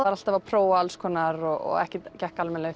var alltaf að prófa alls konar og ekkert gekk almennilega